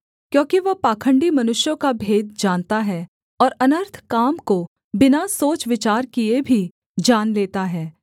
क्योंकि वह पाखण्डी मनुष्यों का भेद जानता है और अनर्थ काम को बिना सोच विचार किए भी जान लेता है